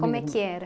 Como é que era?